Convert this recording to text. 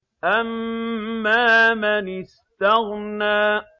أَمَّا مَنِ اسْتَغْنَىٰ